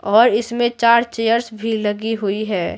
और इसमें चार चेयर्स भी लगी हुई है।